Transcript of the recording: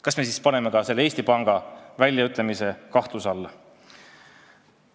Kas me paneme selle Eesti Panga seisukoha kahtluse alla?